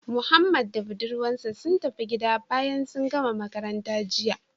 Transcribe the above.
Mohammed da budurwar sa sun tafi gida bayan sun gama makaranta jiya